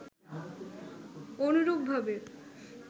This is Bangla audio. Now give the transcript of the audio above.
অনুরূপভাবে